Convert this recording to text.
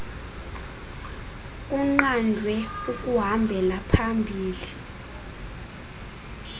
kunqandwe ukuhambela phambili